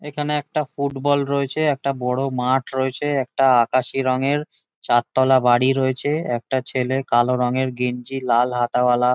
এখানে একটা ফুটবল রয়েছে। একটা বড়ো মাঠ রয়েছে। একটা আকাশি রঙের চারতলা বাড়ি রয়েছে। একটা ছেলে কালো রঙের গেঞ্জি লাল হাতাওয়ালা--